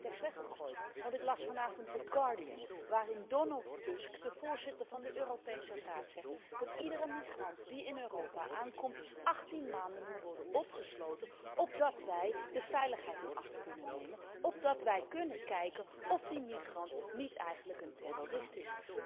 heb mijn spreektekst weggegooid, want ik las vanavond The Guardian waarin Donald Tusk, de voorzitter van de Europese Raad, zegt dat iedere migrant die in Europa aankomt 18 maanden moet worden opgesloten, opdat wij de veiligheid in acht kunnen nemen, opdat wij kunnen kijken of die migrant niet eigenlijk een terrorist is.